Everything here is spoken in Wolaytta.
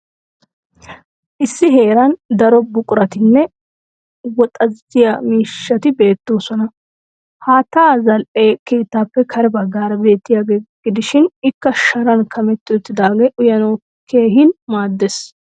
Issi heeran daro buquratinne wooxziya miishati beettoosona. Haatta zal"e keettaappe kare baggaara beettiyaaga gidishin ikka Sharan kametti uttidaagee uyanawu keehin maaddes.